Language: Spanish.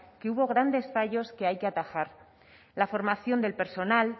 que hubo grandes fallos que hay que atajar la formación del personal